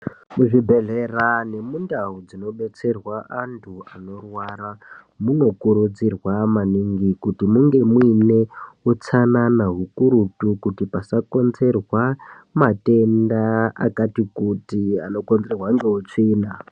Muzvibhedhlera nemundau dzinobetserwa antu anorwara munokurudzirwa maningi kuti munge muine utsanana hukurutu kuti pasakonzerwa matenda akati kuti anokonzerwa ngeutsvina.